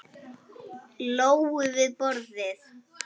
Lóu við borðið.